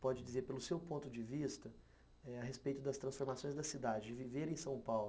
pode dizer, pelo seu ponto de vista, a respeito das transformações da cidade, de viver em São Paulo?